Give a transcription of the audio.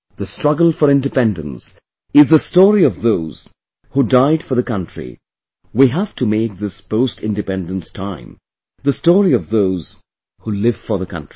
The Struggle for Independence is the story of those who died for the country, we have to make this postIndependence time the story of those who live for the country